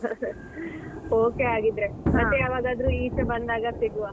Okay ಆಗಿದ್ರೇ ಮತ್ತೆ ಯಾವಾಗಾದ್ರೂ ಈಚೆ ಬಂದಾಗ ಸಿಗುವ.